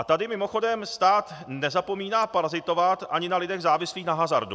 A tady mimochodem stát nezapomíná parazitovat ani na lidech závislých na hazardu.